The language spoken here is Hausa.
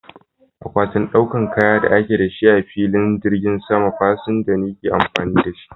Akwatin ɗaukan kaya da ake da shi a filin jirgin sama, fasinja ne ke amfani da shi.